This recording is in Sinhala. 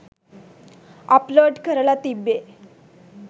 අප්ලෝඩ් කරලා තිබ්බේ.